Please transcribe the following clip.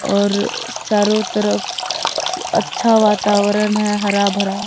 और चारों तरफ अच्छा वातावरण है हरा भरा।